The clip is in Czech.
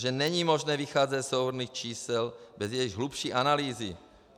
Že není možné vycházet ze souhrnných čísel bez jejich hlubší analýzy.